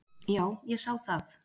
Já, ég sá það.